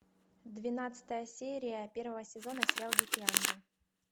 двенадцатая серия первого сезона сериал дикий ангел